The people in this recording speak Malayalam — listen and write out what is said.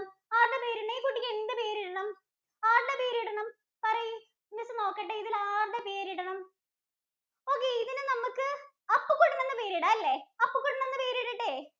ആരുടെ പേരിടണം? ഈ കുട്ടിക്ക് എന്ത് പേരിടണം? ആരുടെ പേരിടണം? പറയ് miss നോക്കട്ടെ ഇതിന് ആരുടെ പേരിടണം? Okay ഇതിന് നമ്മക്ക് അപ്പുകുട്ടന്‍ എന്ന് പേരിടാം അല്ലെ? അപ്പുകുട്ടന്‍ എന്ന് പേരിടട്ടെ?